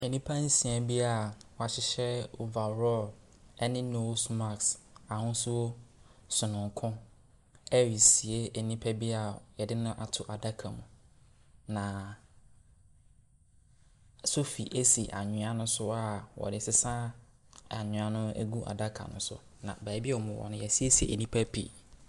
Nnipa nsia bi a wɔahyehyɛ overall ne nose mask ahosuo sononko ɛresie nipa bi yɛde ne ato adaka mu. Na sɔfi si anwea ne so wɔde sesa anwea gu adaka ne so. Na beebi a wɔwɔ no, wɔasiesie nnia pii.